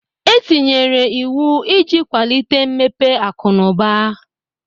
E tinyere iwu iji kwalite mmepe akụ na ụba.